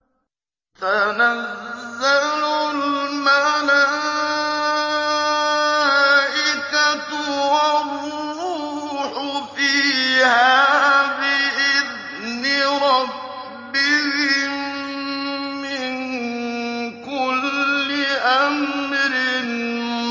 تَنَزَّلُ الْمَلَائِكَةُ وَالرُّوحُ فِيهَا بِإِذْنِ رَبِّهِم مِّن كُلِّ أَمْرٍ